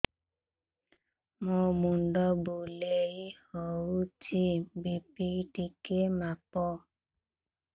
ମୋ ମୁଣ୍ଡ ବୁଲେଇ ହଉଚି ବି.ପି ଟିକେ ମାପ